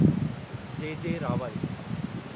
जे J Rawal